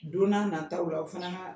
Don na nataw la o fana na